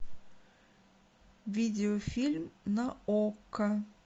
видеофильм на окко